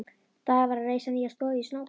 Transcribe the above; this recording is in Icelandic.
Daði var að reisa nýja stofu í Snóksdal.